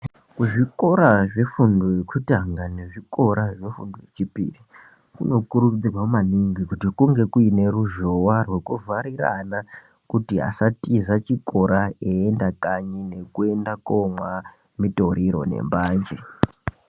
Kuzvikora zvifundo yekutanga nezvikora zvefundo yechipiri, kunokurudzirwa maningi kuti kunge kuine ruzhowa rwekuvharira ana, kuti asatiza chikora eienda kanyi ngekuenda komwa mitoriro nembanje.